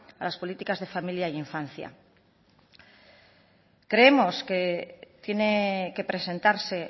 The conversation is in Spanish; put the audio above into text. a las políticas de familia e infancia creemos que tiene que presentarse